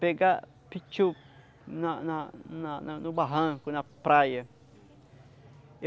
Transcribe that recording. Pegar pitiu na na na na no barranco, na praia.